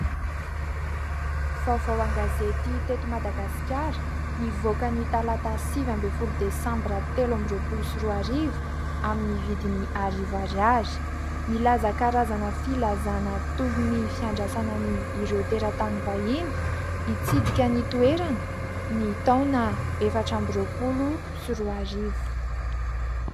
Vaovao an-gazety teto Madagasikara, nivoaka ny talata sivy ambin'ny folo desambra telo amby roapolo sy roa arivo, amin'ny vidiny arivo ariary. Milaza karazana filazana toy ny fiandrasana an'ireo teratany vahiny, hitsidika ny toerana, ny taona efatra amby roapolo sy roa arivo.